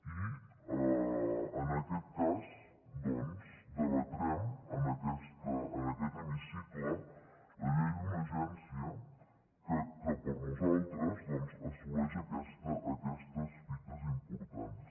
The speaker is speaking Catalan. i en aquest cas doncs debatrem en aquest hemicicle la llei d’una agència que per a nosaltres assoleix aquestes fites importants